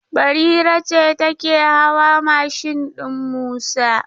Barira ce take hawa mashin din Musa.